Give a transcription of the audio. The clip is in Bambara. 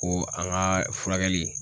Ko an ka furakɛli